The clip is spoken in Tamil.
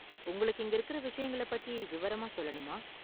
உங்களுக்கு இங்க இருக்கற விஷயங்கள பத்தி விவரமா சொல்லணுமா?